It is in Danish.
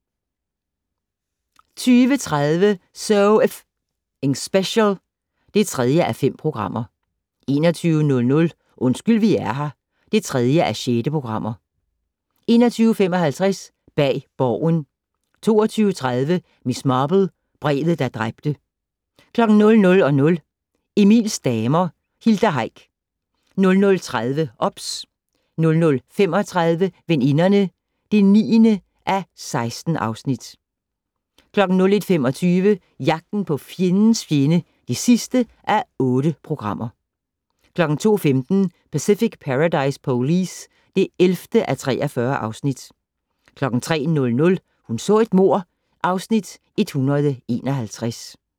20:30: So F***ing Special (3:5) 21:00: Undskyld vi er her (3:6) 21:55: Bag Borgen 22:30: Miss Marple: Brevet, der dræbte 00:00: Emils damer - Hilda Heick 00:30: OBS 00:35: Veninderne (9:16) 01:25: Jagten på fjendens fjende (8:8) 02:15: Pacific Paradise Police (11:43) 03:00: Hun så et mord (Afs. 151)